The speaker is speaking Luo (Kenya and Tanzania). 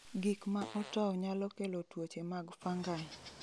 Gik ma otow nyalo kelo tuoche mag fungi.